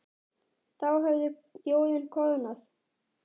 Þá hefði þjóðin koðnað.